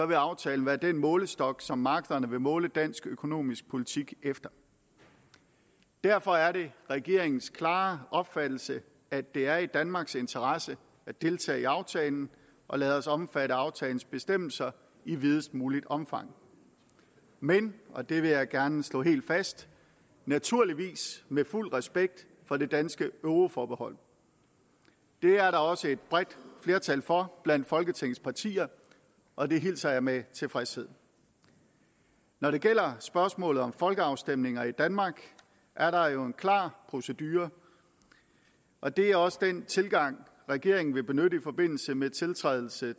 vil aftalen være den målestok som markederne vil måle dansk økonomisk politik efter derfor er det regeringens klare opfattelse at det er i danmarks interesse at deltage i aftalen og lade os omfatte af aftalens bestemmelser i videst muligt omfang men og det vil jeg gerne slå helt fast naturligvis med fuld respekt for det danske euroforbehold det er der også et bredt flertal for blandt folketingets partier og det hilser jeg med tilfredshed når det gælder spørgsmålet om folkeafstemninger i danmark er der jo en klar procedure og det er også den tilgang regeringen vil benytte i forbindelse med tiltrædelse